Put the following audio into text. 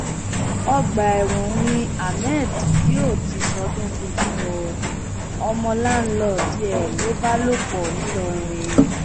ọgbà ẹwọn ni ahmed yóò ti ṣọdún tuntun o ọmọ láńlọọdù ẹ ló bá lọ pọ ń ìlọrin